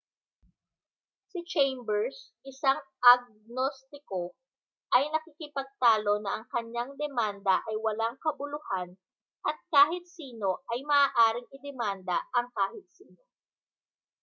si chambers isang agnostiko ay nakikipagtalo na ang kanyang demanda ay walang kabuluhan at kahit sino ay maaaring idemanda ang kahit sino